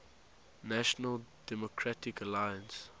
national democratic alliance